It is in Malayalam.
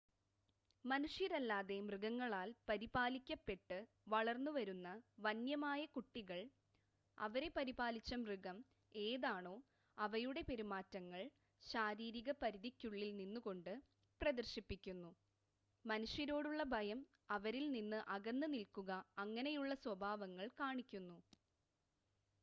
മനുഷ്യരല്ലാതെ മൃഗങ്ങളാൽ പരിപാലിക്കപ്പെട്ട് വളർന്നു വരുന്ന വന്യമായ കുട്ടികൾ അവരെ പരിപാലിച്ച മൃഗം ഏതാണോ അവയുടെ പെരുമാറ്റങ്ങൾ ശാരീരിക പരിധിക്കുള്ളിൽ നിന്നുകൊണ്ട് പ്രദർശിപ്പിക്കുന്നു. മനുഷ്യരോടുള്ള ഭയം അവരിൽ നിന്ന് അകന്ന് നിൽക്കുക അങ്ങനെയുള്ള സ്വഭാവങ്ങൾ കാണിക്കുന്നു